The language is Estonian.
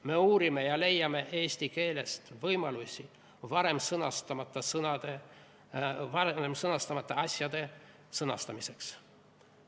Me uurime ja leiame eesti keelest võimalusi varem sõnastamata asjade sõnastamiseks.